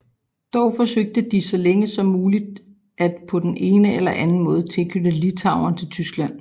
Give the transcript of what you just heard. Dog forsøgte de så længe som muligt at på den ene eller anden måde tilknytte Litauen til Tyskland